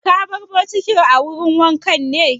Ka bar bokitin a wurin wanka ne?